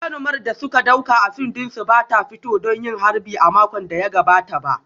Jarumar da suka dauka a fim dinsu ba ta fito don yin harbi a makon da ya gabata ba